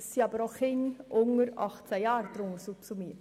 Zudem gehören auch Kinder unter 18 Jahren in diese Gruppe.